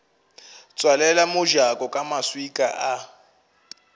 tswalela mojako ka maswika a